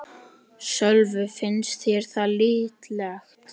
Sölvi: Finnst þér það líklegt?